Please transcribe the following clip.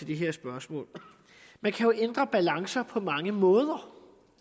det her spørgsmål man kan jo ændre balancer på mange måder